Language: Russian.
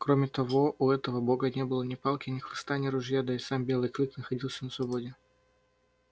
кроме того у этого бога не было ни палки ни хлыста ни ружья да и сам белый клык находился на свободе